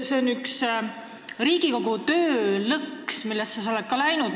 See on üks Riigikogu töö lõks, millesse ka sina oled läinud.